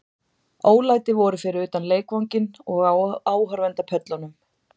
Ólæti voru fyrir utan leikvanginn og á áhorfendapöllunum.